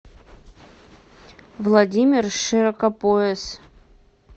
владимир широкопояс